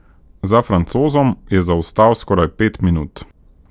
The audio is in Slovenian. Za Francozom je zaostal skoraj pet minut.